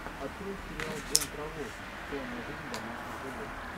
открой сериал джон траволта тайная жизнь домашних животных